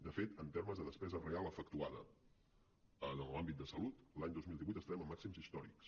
de fet en termes de despesa real efectuada en l’àmbit de salut l’any dos mil divuit estarem en màxims històrics